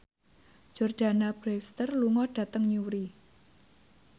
Jordana Brewster lunga dhateng Newry